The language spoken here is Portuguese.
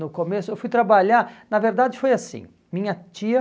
No começo, eu fui trabalhar, na verdade foi assim, minha tia,